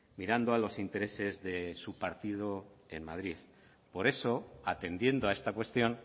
mirando a los intereses de su partido en madrid por eso atendiendo a esta cuestión